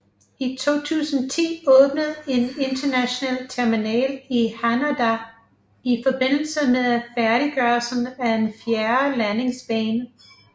I 2010 åbnede en international terminal i Haneda i forbindelse med færdiggørelsen af en fjerde landingsbane